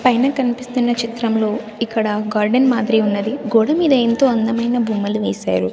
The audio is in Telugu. పైన కనిపిస్తున్న చిత్రంలో ఇక్కడ గార్డెన్ మాదిరి ఉన్నది గోడ మీద ఎంతో అందమైన బొమ్మలు వేశారు.